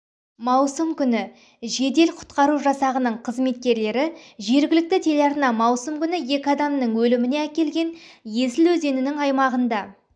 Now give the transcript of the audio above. маусым күні жедел-құтқару жасағының қызметкерлері жергілікті телеарнада маусым күні екі адамның өліміне әкелген есіл өзенінің аймағында